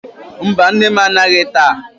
Mba, nne m anaghị taa.